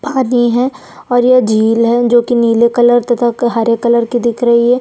पानी है और ये झिल है जो नीले कलर तथा हरे कलर की दिख रही है।